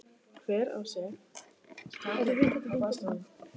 Hvergi sá ég skjáglugga á baðstofum.